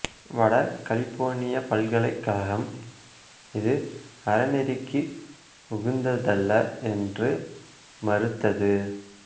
வட கலிபோர்னியப் பல்கலைக்கழகம் இது அறநெறிக்கு உகந்ததல்ல என்று மறுத்தது